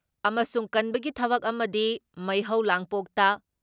ꯑꯃꯁꯨꯡ ꯀꯟꯕꯒꯤ ꯊꯕꯛ ꯑꯃꯗꯤ ꯃꯩꯍꯧ ꯂꯥꯡꯄꯣꯛꯇ